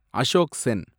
Ashok Sen